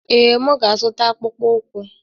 Ee, m ga-azụta akpụkpọ ụkwụ.